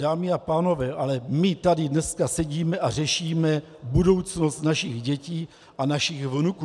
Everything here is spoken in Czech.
Dámy a pánové, ale my tady dneska sedíme a řešíme budoucnost našich dětí a našich vnuků.